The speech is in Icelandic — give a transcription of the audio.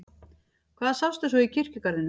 Hvað sástu svo í kirkjugarðinum?